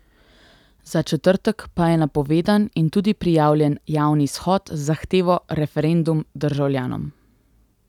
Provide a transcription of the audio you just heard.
Za četrtek pa je napovedan in tudi prijavljen javni shod z zahtevo Referendum državljanom.